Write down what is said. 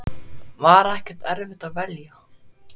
Var ekkert erfitt að velja?